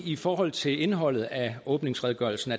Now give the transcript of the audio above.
i forhold til indholdet af åbningsredegørelsen